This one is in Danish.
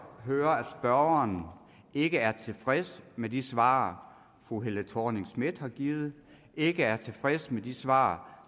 høre at spørgeren ikke er tilfreds med de svar fru helle thorning schmidt har givet og ikke er tilfreds med de svar